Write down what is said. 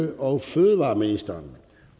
og fødevareministeren